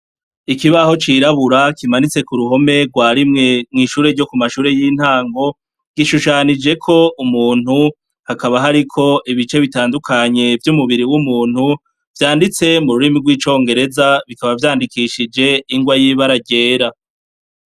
Ikibaho cirabura kimanitse kuruhome rwa rimwe mumashure y'intango gishushanijeko umuntu hakaba hariko ibice bitandukanye vyumubiri umuntu vyanditse mururimi rw'icongereza bikaba vyandikishije ingwa yibara ryera.